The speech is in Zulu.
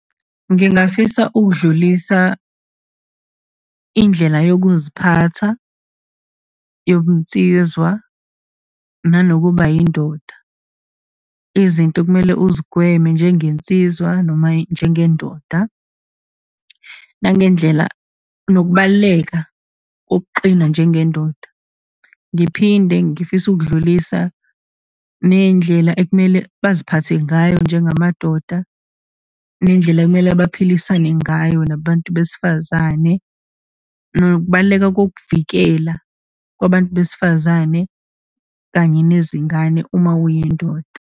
Ngingafisa ukudlulisa indlela yokuziphatha yobunsizwa, nanokuba yindoda, izinto okumele uzigweme njengensizwa, noma njengendoda, nangendlela, nokubaluleka kokuqina njengendoda. Ngiphinde ngifise ukudlulisa ney'ndlela ekumele baziphathe ngayo njengamadoda, nendlela ekumele baphilisane ngayo nabantu besifazane, nokubaluleka kokuvikela kwabantu besifazane, kanye nezingane uma uyindoda.